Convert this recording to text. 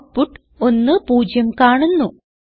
output 1 0 കാണുന്നു